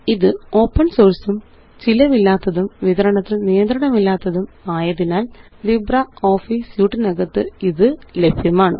ഇത് ഓപ്പണ് സോഴ്സും ചിലവില്ലാത്തതും വിതരണത്തില് നിയന്ത്രണമില്ലാത്തതും ആയതിനാല് ലിബ്രിയോഫീസ് സ്യൂട്ടിനകത്ത് ഇത് ലഭ്യമാണ്